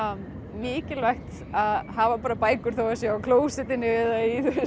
mikilvægt að hafa bækur þó að það sé á klósettinu eða